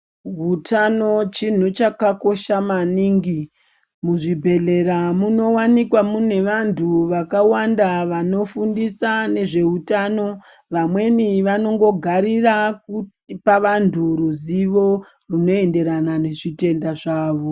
Hutano chinhu chakakosha maningi, muzvibhedhlera munovanikwa mune vantu vakawanda vanofundisa nezveutano. Vamweni vanondogarira kupa vantu ruzivo runoenderana nezvitenda zvavo.